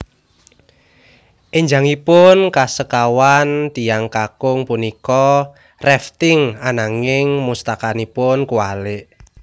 Enjangipun kasekawan tiyang kakung punika rafting ananging mustakanipun kuwalik